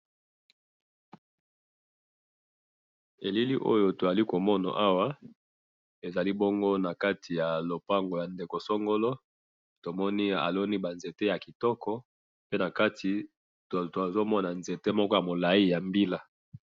elili oyo tozali komona awa, ezali bongo nakati ya lupango ya ndeko songolo, tomoni aloni ba nzete ya kitoko, pe nakati tozomona nzete moko ya molayi ya mbila